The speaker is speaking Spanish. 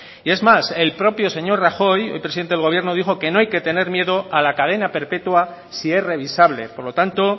y es más el propio señor rajoy hoy presidente del gobierno dijo que no hay que tener miedo a la cadena perpetua si es revisable por lo tanto